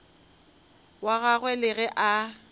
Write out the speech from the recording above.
wa gagwe le ge a